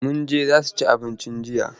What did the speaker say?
Mun je Zazu cin abinci jiya.